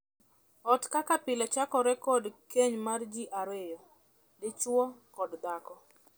Ot kaka pile chakore kod keny mar jii ariyo; dichwo kod dhako.